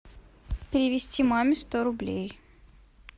перевести маме сто рублей